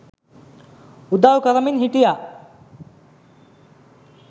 උදව් කරමින් හිටියා